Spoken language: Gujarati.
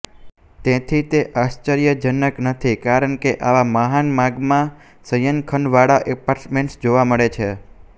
તેથી તે આશ્ચર્યજનક નથી કારણ કે આવા મહાન માગમાં શયનખંડવાળા એપાર્ટમેન્ટ્સ છે